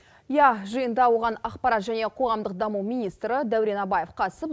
иә жиында оған ақпарат және қоғамдық даму министрі дәурен абаев қатысып